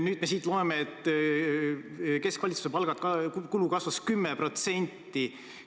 Nüüd me siit loeme, et keskvalitsuse palgakulu kasvas 10%.